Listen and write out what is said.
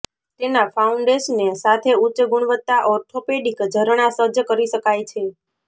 તેના ફાઉન્ડેશને સાથે ઉચ્ચ ગુણવત્તા ઓર્થોપેડિક ઝરણા સજ્જ કરી શકાય છે